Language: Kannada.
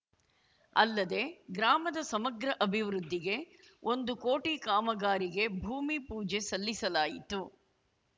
ಅಲ್ಲದೆ ಗ್ರಾಮದ ಸಮಗ್ರ ಅಭಿವೃದ್ದಿಗೆ ಒಂದು ಕೋಟಿ ಕಾಮಗಾರಿಗೆ ಭೂಮಿ ಪೂಜೆ ಸಲ್ಲಿಸಲಾಯಿತು